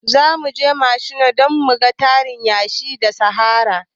Zamuje machina don muga tarin yashi na sahara